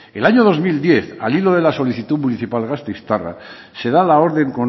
el año dos mil diez al hilo de la solicitud municipal gasteiztarra se da la orden